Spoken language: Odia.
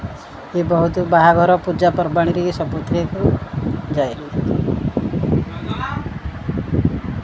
ଇ ବହୁତ ବାହାଘର ପୂଜାପର୍ବାଣୀ ର ଇଏ ସବୁ ଥିରେ ଯାଏ --